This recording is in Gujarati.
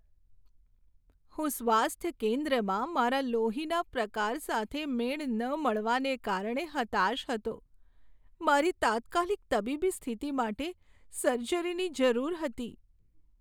હું સ્વાસ્થ્ય કેન્દ્રમાં મારા લોહીના પ્રકાર સાથે મેળ ન મળવાને કારણે હતાશ હતો. મારી તાત્કાલિક તબીબી સ્થિતિ માટે સર્જરીની જરૂર હતી.